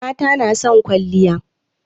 Mata na son kwalliya.